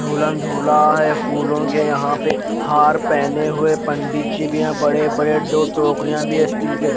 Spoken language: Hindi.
जुलम जुला है फूलो के यहा पे हार पहने हुए पंडित जी भी है बड़े बड़े दो टोकरिया भी है स्टील के।